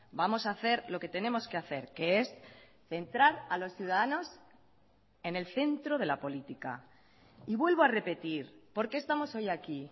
vamos a hacer lo que tenemos que hacer que es centrar a los ciudadanos en el centro de la política y vuelvo a repetir por qué estamos hoy aquí